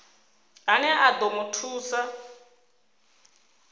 ane a ḓo mu thusa